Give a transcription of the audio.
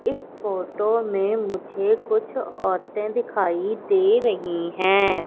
इस फोटो में मुझे कुछ औरतें दिखाई दे रही हैं।